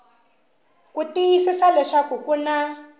ku tiyisisa leswaku ku na